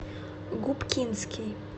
губкинский